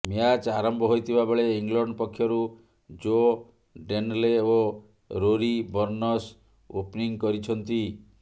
match ଆରମ୍ଭ ହୋଇଥିବା ବେଳେ ଇଂଲଣ୍ଡ ପକ୍ଷରୁ ଜୋ ଡେନଲେ ଓ ରୋରି ବର୍ଣ୍ଣସ୍ ଓପ୍ନିଂ କରିଛନ୍ତି